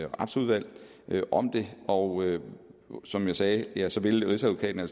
retsudvalget om det og som jeg sagde jeg sagde vil rigsadvokaten